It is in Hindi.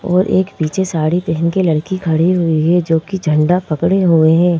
और एक पीछे साड़ी पहन के लड़की खड़ी हुई है जो कि झंडा पकड़े हुए है।